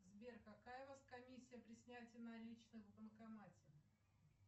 сбер какая у вас комиссия при снятии наличных в банкомате